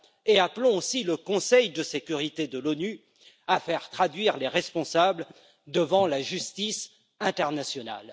Nous appelons aussi le Conseil de sécurité de l'ONU à faire traduire les responsables devant la justice internationale.